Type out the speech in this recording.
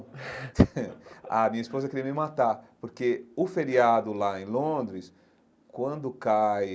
A minha esposa queria me matar, porque o feriado lá em Londres, quando cai...